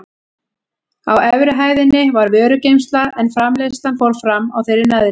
Á efri hæðinni var vörugeymsla en framleiðslan fór fram á þeirri neðri.